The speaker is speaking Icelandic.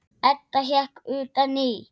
Edda hékk utan í.